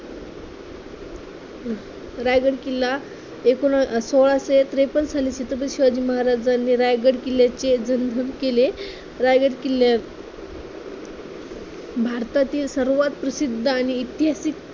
रायगड किल्ला एकूण सोळाशे त्रेपन्न साली तिथे शिवाजी महाराजांनी रायगड किल्ल्याचे जीर्णोद्धार केले. रायगड किल्ला भारतातील सर्वात प्रसिद्ध आणि ऐतिहासिक